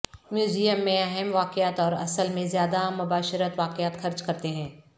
museum میں اہم واقعات اور اصل میں زیادہ مباشرت واقعات خرچ کرتے ہیں